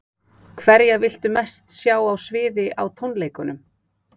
Hverja viltu mest sjá á sviði á tónleikum?